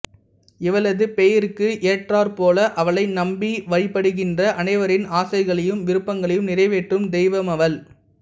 இவளது பெயருக்கு ஏற்றார்ப்போல அவளை நம்பி வழிபடுகின்ற அனைவரின் ஆசைகளையும் விருப்பங்களையும் நிறைவேற்றும் தெய்வமவள்